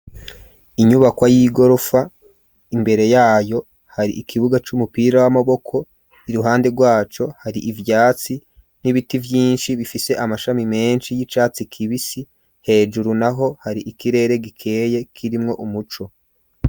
Inyubakwa y'igorofa ,imbere yayo hari ikibuga c'umupira w'amaboko ,iruhande rwaco hari ivyatsi n'ibiti Vyinshi bifise amashami menshi y'icatsi kibisi ,hejuru naho hari ikirere gikeye kirimwo umuco.